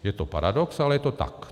Je to paradox, ale je to tak.